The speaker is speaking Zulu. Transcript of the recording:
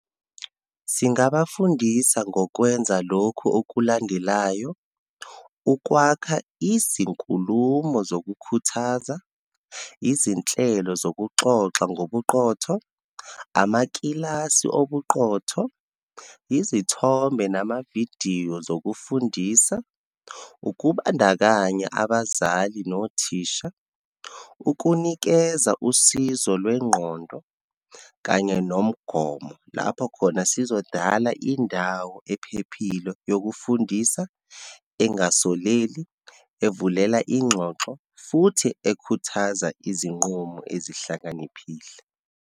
Singabafundisa ngokwenza lokhu okulandelayo, ukwakha izinkulumo zokukhuthaza, izinhlelo zokuxoxa ngobuqotho, amakilasi obuqotho, izithombe namavidiyo zokufundisa, ukubandakanya abazali nothisha, ukunikeza usizo lwengqondo kanye nomgomo. Lapho khona sizodala indawo ephephile yokufundisa engasoleli, evulela ingxoxo, futhi ekhuthaza izinqumo ezihlakaniphile.